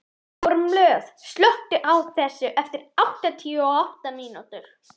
Kormlöð, slökktu á þessu eftir áttatíu og átta mínútur.